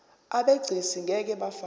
abegcis ngeke bafakwa